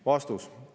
Vastus.